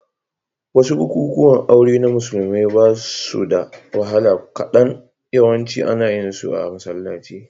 Wasu bukukuwan aure na musulmi ba suda wahala ko kadan, yawanci ana yin su a masallaci.